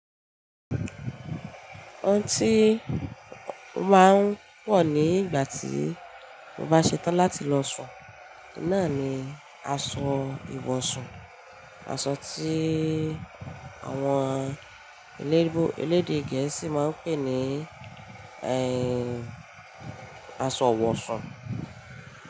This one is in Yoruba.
Òun tí mo máa ń wọ̀ ní ìgbà tí mo bá ṣe tán láti lọ sùn, náà ni aṣọ ìwọ̀sùn, aṣọ tí àwọn elé- elédè Gẹ̀ẹ́sì máa ń pè ní ẹ́ń, aṣọ ìwọ̀sùn.